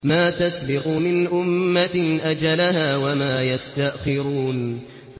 مَا تَسْبِقُ مِنْ أُمَّةٍ أَجَلَهَا وَمَا يَسْتَأْخِرُونَ